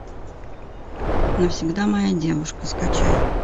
навсегда моя девушка скачай